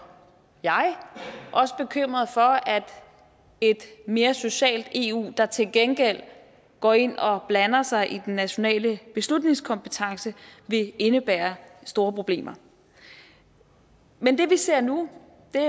jeg også bekymret for at et mere socialt eu der til gengæld går ind og blander sig i den nationale beslutningskompetence vil indebære store problemer men det vi ser nu er